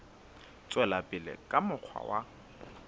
tswela pele ka mokgwa wa